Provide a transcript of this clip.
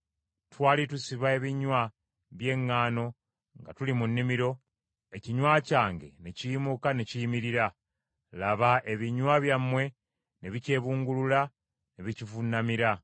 Twali tusiba ebinywa by’eŋŋaano nga tuli mu nnimiro, ekinywa kyange ne kiyimuka ne kiyimirira; laba ebinywa byammwe ne bikyebungulula ne bikivuunamira.”